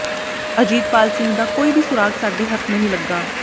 ਅਜੀਤਪਾਲ ਸਿੰਘ ਦਾ ਕੋਈ ਵੀ ਸੁਰਾਗ਼ ਸਾਡੇ ਹੱਥ ਨਹੀਂ ਲੱਗਾ